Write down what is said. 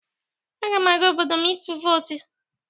Aga m aga obodo m ịtụ vootụ.